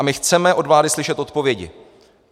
A my chceme od vlády slyšet odpovědi.